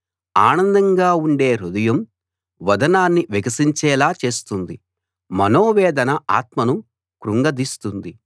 ఆనందంగా ఉండే హృదయం వదనాన్ని వికసించేలా చేస్తుంది మనోవేదన ఆత్మను కృంగదీస్తుంది